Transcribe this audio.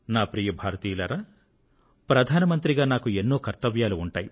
ప్రియమైన నా దేశ వాసులారా ప్రధాన మంత్రిగా నాకు ఎన్నో కర్తవ్యాలు ఉంటాయి